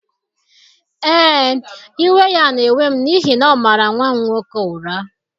Ee, iwe ya na-ewe m n’ihi na ọ mara nwa m nwoke ụra.